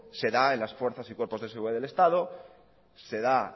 se da en las fuerzas y cuerpos de seguridad del estado se da